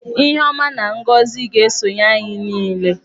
Ihe ọma na ngọzị ga-eso anyị niile.